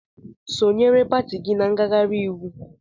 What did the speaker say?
Sonyeere pati gị na ngaghari íwú!